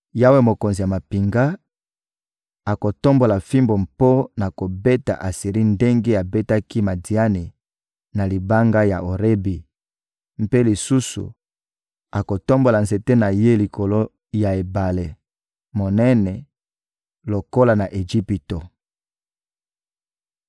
Yawe, Mokonzi ya mampinga, akotombola fimbu mpo na kobeta Asiri ndenge abetaki Madiani na libanga ya Orebi. Mpe lisusu, akotombola nzete na Ye likolo ya ebale monene lokola na Ejipito.